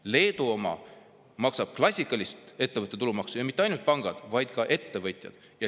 Leedus maksavad klassikalist ettevõtte tulumaksu mitte ainult pangad, vaid ka teised ettevõtted.